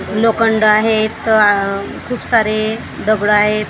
लोखंड आहेत खूप सारे दगड आहेत.